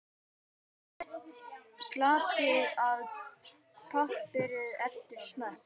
Saltið og piprið eftir smekk.